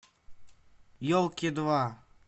елки два